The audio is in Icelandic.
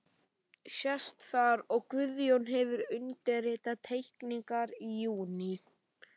Sést þar, að Guðjón hefur undirritað teikningarnar í júní